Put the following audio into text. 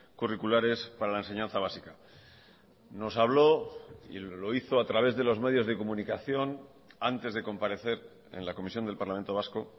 curriculares para la enseñanza básica nos habló y lo hizo a través de los medios de comunicación antes de comparecer en la comisión del parlamento vasco